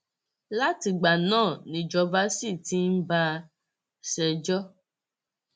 látìgbà náà nìjọba sì ti ń bá a ṣẹjọ